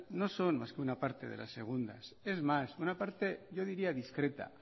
no son más que una parte de las segundas es más una parte yo diría discreta